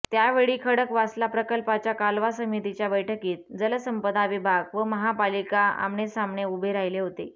त्यावेळी खडकवासला प्रकल्पाच्या कालवा समितीच्या बैठकीत जलसंपदा विभाग व महापालिका आमनेसामने उभे राहिले होते